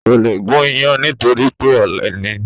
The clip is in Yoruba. Kò le gún iyán nítorí pé ọ̀lẹ ni